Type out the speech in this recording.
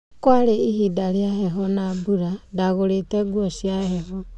kwarĩ ĩbida rĩa mbebo na mbura ,ndagũrĩte nguo cia mbebo.